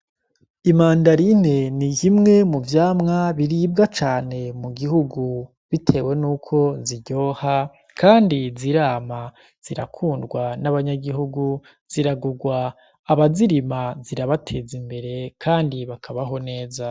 Imandarine ni yimwe mu vyamwa biribwa cane mu gihugu, bitewe n' uko ziryoha, kandi zirama zirakundwa n'abanyagihugu ziragurwa aba zirima zirabateza imbere, kandi bakabaho neza.